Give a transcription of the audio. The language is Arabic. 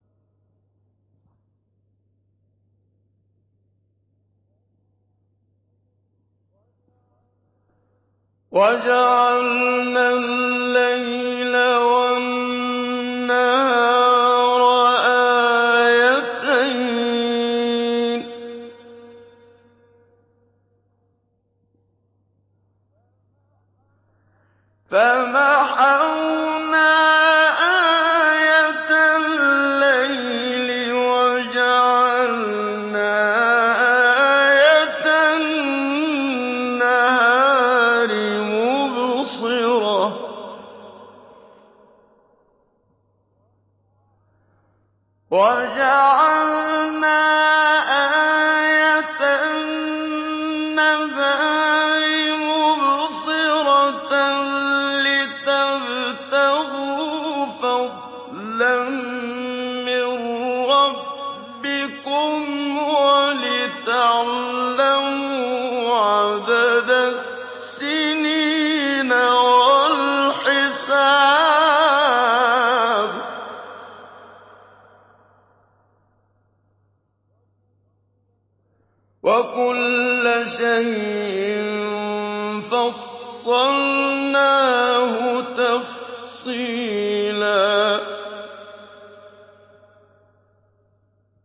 وَجَعَلْنَا اللَّيْلَ وَالنَّهَارَ آيَتَيْنِ ۖ فَمَحَوْنَا آيَةَ اللَّيْلِ وَجَعَلْنَا آيَةَ النَّهَارِ مُبْصِرَةً لِّتَبْتَغُوا فَضْلًا مِّن رَّبِّكُمْ وَلِتَعْلَمُوا عَدَدَ السِّنِينَ وَالْحِسَابَ ۚ وَكُلَّ شَيْءٍ فَصَّلْنَاهُ تَفْصِيلًا